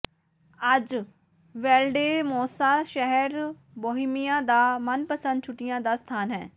ਅੱਜ ਵੈਲਡੇਮੋਸਾ ਸ਼ਹਿਰ ਬੋਹੀਮੀਆ ਦਾ ਮਨਪਸੰਦ ਛੁੱਟੀਆਂ ਦਾ ਸਥਾਨ ਹੈ